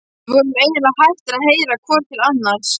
Við vorum eiginlega hættir að heyra hvor til annars.